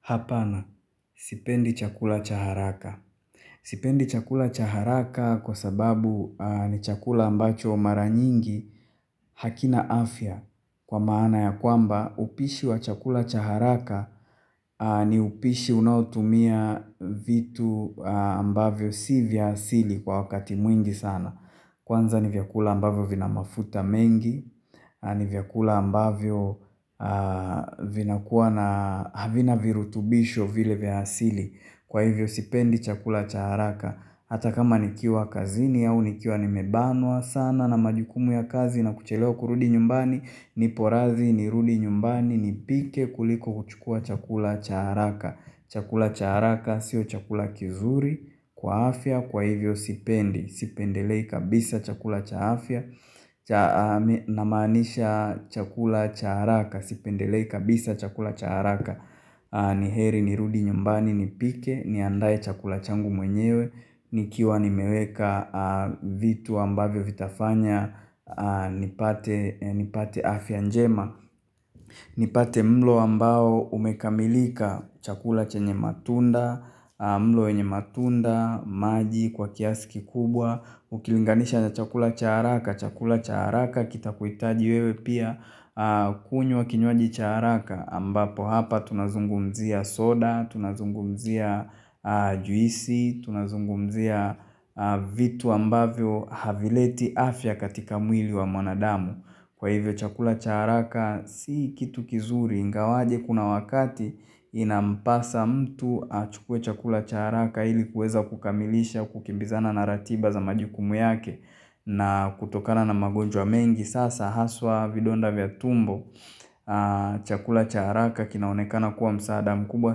Hapana, sipendi chakula cha haraka. Sipendi chakula cha haraka kwa sababu ni chakula ambacho mara nyingi hakina afya. Kwa maana ya kwamba, upishi wa chakula cha haraka ni upishi unaotumia vitu ambavyo si vya asili kwa wakati mwingi sana. Kwanza ni vyakula ambavyo vina mafuta mengi, ni vyakula ambavyo vina virutubisho vile vya asili. Kwa hivyo sipendi chakula cha haraka. Hata kama nikiwa kazini au nikiwa nimebanwa sana na majukumu ya kazi na kuchelewa kurudi nyumbani, niporadhi, nirudi nyumbani, nipike kuliko kuchukua chakula cha haraka. Chakula cha haraka, sio chakula kizuri, kwa afya, kwa hivyo sipendi, sipendelei kabisa chakula cha afya na manisha chakula cha haraka, sipendelei kabisa chakula cha haraka ni heri, ni rudi nyumbani, ni pike, niandae chakula changu mwenyewe ni kiwa ni meweka vitu ambavyo vitafanya, nipate afya njema nipate mlo ambao umekamilika chakula chenye matunda, mlo wenye matunda, maji kwa kiasi kikubwa, ukilinganisha chakula cha haraka, chakula cha haraka kita kuhitaji wewe pia kunywa kinywaji cha haraka ambapo hapa tunazungumzia soda, tunazungumzia juisi, tunazungumzia vitu ambavyo havileti afya katika mwili wa mwanadamu. Kwa hivyo chakula cha haraka si kitu kizuri ingawaje kuna wakati inampasa mtu achukue chakula cha haraka ili kuweza kukamilisha kukimbizana na ratiba za majikumu yake na kutokana na magonjwa mengi sasa haswa vidonda vya tumbo chakula cha haraka kinaonekana kuwa msaada mkubwa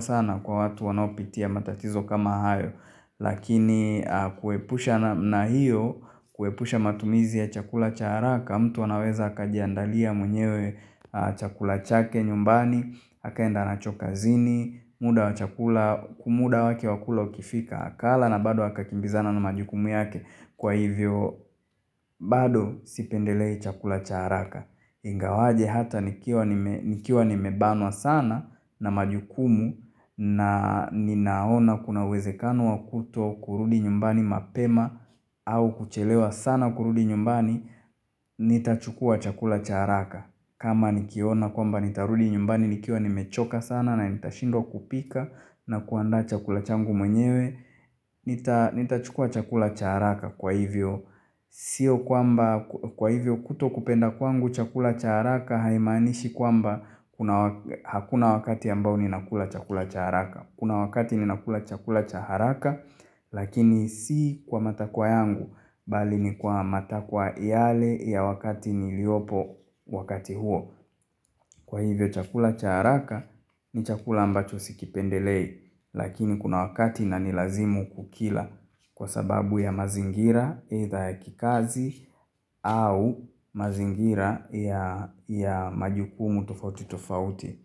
sana kwa watu wanopitia matatizo kama hayo. Lakini kuepushana na hiyo, kuepusha matumizi ya chakula cha haraka, mtu anaweza akajiandalia mwenyewe chakula chake nyumbani, akaenda nacho kazini, muda wa chakula, muda wake wakula ukifika akala na bado akakimbizana na majukumu yake kwa hivyo bado sipendelei chakula cha haraka. Ingawaje hata nikiwa nimebanwa sana na majukumu na ninaona kuna uwezekano wa kutokurudi nyumbani mapema au kuchelewa sana kurudi nyumbani nitachukua chakula cha haraka. Kama nikiona kwamba nitarudi nyumbani nikiwa nimechoka sana na nitashindwa kupika na kuandaa chakula changu mwenyewe Nitachukua chakula cha haraka kwa hivyo Sio kwamba kutokupenda kwangu chakula cha haraka haimanishi kwamba hakuna wakati ambao ninakula chakula cha haraka Kuna wakati ninakula chakula cha haraka lakini si kwa matakwa yangu bali ni kwa matakwa yale ya wakati niliopo wakati huo kwa hivyo chakula cha haraka ni chakula ambacho sikipendelei lakini kuna wakati ina nilazimu kukila kwa sababu ya mazingira aidha ya kikazi au mazingira ya majukumu tofauti tofauti.